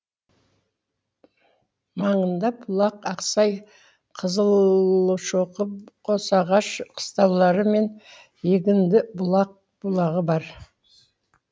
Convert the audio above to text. маңында бұлақ ақсай қызылшоқы қосағаш қыстаулары мен егіндібұлақ бұлағы бар